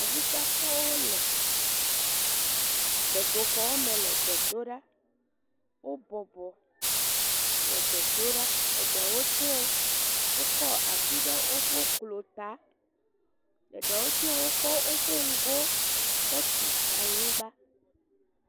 Awusatɔwo le gbedoxɔ me le gbe dom ɖa, wo bɔbɔ le gbe dom ɖa, eɖewo tse wokɔ asi ɖe woƒe klo ta eɖewo tse wokɔ woƒe ŋgɔ kɔtu anyigba.